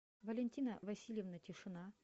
валентина васильевна тишина